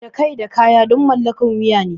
Da kai da kaya duk mallakar wuya ne.